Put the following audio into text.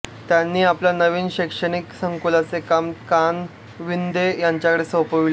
त्यांनी आपल्या नवीन शैक्षणिक संकुलाचे काम कानविंदे यांच्याकडे सोपविले